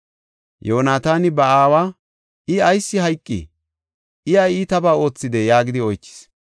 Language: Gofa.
Yoonataani ba aawa, “I ayis hayqii? I ay iitabaa oothidee?” yaagidi oychis.